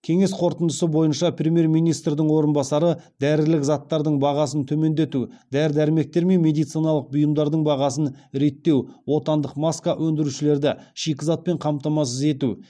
кеңес қорытындысы бойынша премьер министрдің орынбасары дәрілік заттардың бағасын төмендету дәрі дәрмектер мен медициналық бұйымдардың бағасын реттеу отандық маска өндірушілерді шикізатпен қамтамасыз ету